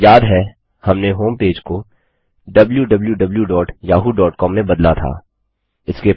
याद है हमने होमपेज को wwwyahoocom में बदला था